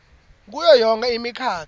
kuyo yonkhe imikhakha